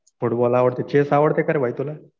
Football आवडतो. Chess आवडतं का रे भाई तुला?